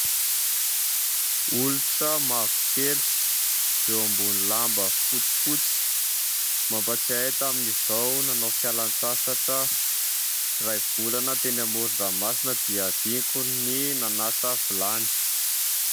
Olitra mavokely eo ambony lamba fotsifotsy. Mampatsiahy ahy tamin'izaho nanao fialan-tsasatra iray volana teny amoron-dranomasina dia hadinoko ny nanasa vilany.